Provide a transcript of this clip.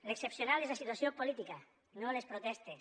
l’excepcional és la situació política no les protestes